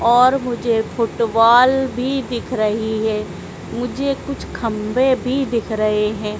और मुझे फुटबॉल भी दिख रही है मुझे कुछ खंबे भी दिख रहे हैं।